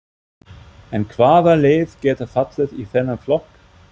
En hvaða lið geta fallið í þennan flokk?